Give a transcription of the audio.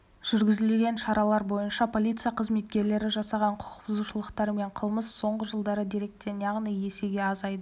жүргізілген шаралар бойынша полиция қызметкерлері жасаған құқық бұзушылықтар мен қылмыс соңғы жылдары деректен яғни есеге азайды